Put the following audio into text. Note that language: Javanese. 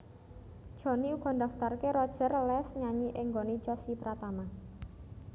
Jhonny uga ndaftarké Roger les nyanyi ing nggoné Chossy Pratama